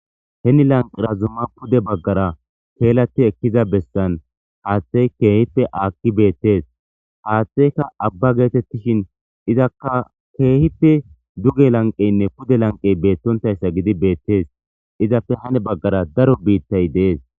heni lanqirazumma pude baggara keelati ekkiza bessan haaththey keehippe aakki beettees haaththeyka abba geetettishin izakka keehipe duge lanqeynne pude lanqey beettontayssa gidi beettees izapfe hane baggara daro biittay dees